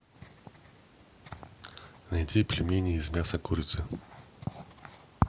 найти пельмени из мяса курицы